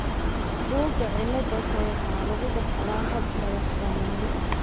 Buugga cilada-ka waxa lagu dhaxlaa hab madax-bannaani ah.